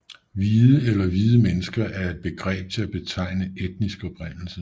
Hvide eller hvide mennesker er et begreb til at betegne etnisk oprindelse